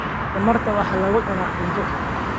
Tamarta waxaa lagu cunaa cunto.